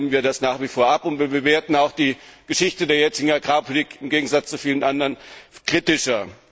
Das lehnen wir nach wie vor ab, und wir bewerten auch die Geschichte der jetzigen Agrarpolitik, im Gegensatz zu vielen anderen, kritischer.